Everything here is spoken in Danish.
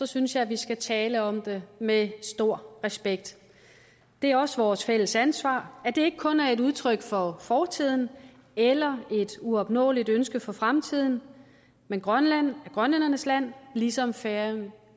synes jeg vi skal tale om det med stor respekt det er også vores fælles ansvar at det ikke kun er et udtryk for fortiden eller et uopnåeligt ønske for fremtiden men grønland er grønlændernes land ligesom færøerne